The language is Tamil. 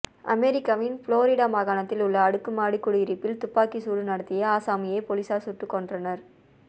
அமெரிக்காவின் புளோரிடா மாகாணத்தில் உள்ள அடுக்குமாடி குடியிருப்பில் துப்பாக்கி சூடு நடத்திய ஆசாமியை போலீசார் சுட்டுக் கொன்றனர்